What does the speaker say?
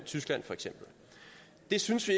tyskland det synes vi